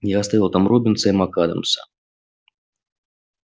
я оставил там роббинса и мак-адамса